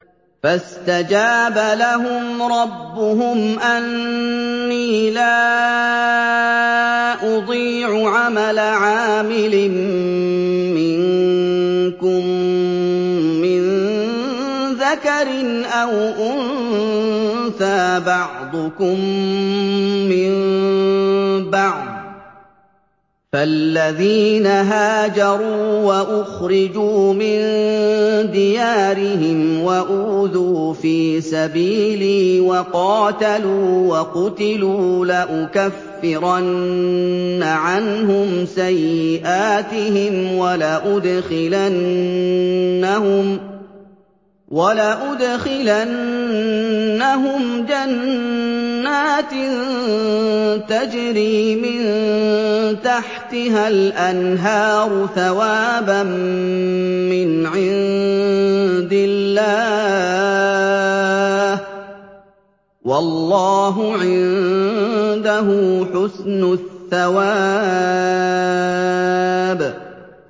فَاسْتَجَابَ لَهُمْ رَبُّهُمْ أَنِّي لَا أُضِيعُ عَمَلَ عَامِلٍ مِّنكُم مِّن ذَكَرٍ أَوْ أُنثَىٰ ۖ بَعْضُكُم مِّن بَعْضٍ ۖ فَالَّذِينَ هَاجَرُوا وَأُخْرِجُوا مِن دِيَارِهِمْ وَأُوذُوا فِي سَبِيلِي وَقَاتَلُوا وَقُتِلُوا لَأُكَفِّرَنَّ عَنْهُمْ سَيِّئَاتِهِمْ وَلَأُدْخِلَنَّهُمْ جَنَّاتٍ تَجْرِي مِن تَحْتِهَا الْأَنْهَارُ ثَوَابًا مِّنْ عِندِ اللَّهِ ۗ وَاللَّهُ عِندَهُ حُسْنُ الثَّوَابِ